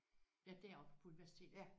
Ja deroppe på universitetet?